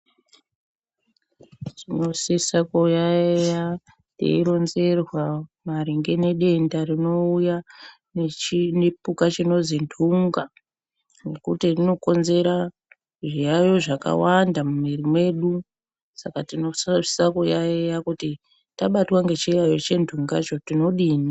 Tinosisa kuyaiya teironzerwa maringe nedenda rinouya nechipuka chinozi ntunga, nekuti inokonzera zviyaiyo zvakawanda mumwiri mwedu. Saka tinosisa kuyaiya kuti tabatwa ngechiyaiyo chentunga cho tinodini.